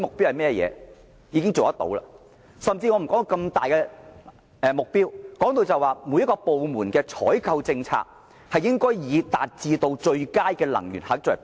姑勿論這麼大型的項目，即使每一個部門的採購政策，亦應以達致最佳能源效益為目標。